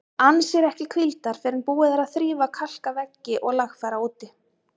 Ann sér ekki hvíldar fyrr en búið er að þrífa, kalka veggi og lagfæra úti.